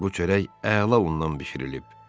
Bu çörək əla undan bişirilib.